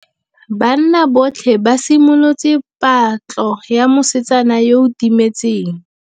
Banna botlhê ba simolotse patlô ya mosetsana yo o timetseng.